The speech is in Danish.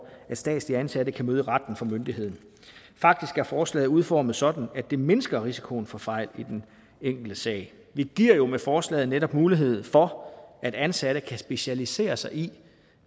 at statsligt ansatte kan møde i retten for myndigheden faktisk er forslaget udformet sådan at det mindsker risikoen for fejl i den enkelte sag vi giver jo med forslaget netop mulighed for at ansatte kan specialisere sig i